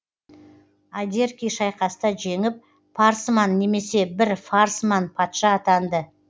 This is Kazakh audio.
адерки шайқаста жеңіп парсман немесе бір фарсман патша атанды